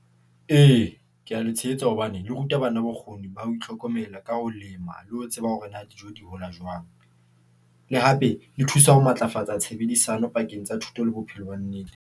Ee, ke a le tshehetsa hobane le ruta bana bokgoni ba ho itlhokomela ka ho lema le ho tseba hore na dijo di hola jwang. Le hape le thusa ho matlafatsa tshebedisano pakeng tsa thuto le bophelo ba nnete.